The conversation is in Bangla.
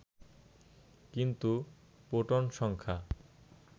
কিন্তু প্রোটন সংখ্যা